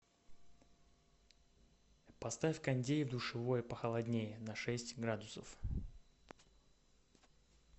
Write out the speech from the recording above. поставь кондей в душевой похолоднее на шесть градусов